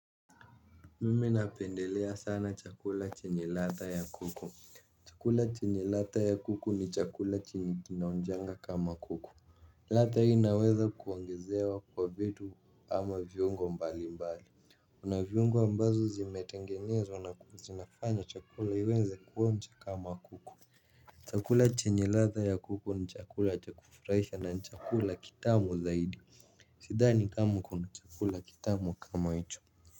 Mimi napendelea sana chakula chenye ladha ya kuku. Chakula chenye ladha ya kuku ni chakula chenye kinaonjanga kama kuku. Ladha hii inaweza kuongezewa kwa vitu ama viungo mbali mbali kuna viungo ambazo zimetengenezwa na kuzi, zinafanya chakula iweze kuonja kama kuku. Chakula chenye ladha ya kuku ni chakula cha kufurahisha na ni chakula kitamu zaidi. Sidhani kama kuna chakula kitamu kama hicho.